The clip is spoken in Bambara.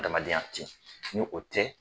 Adamadenya tɛ ye ni o tɛ ye.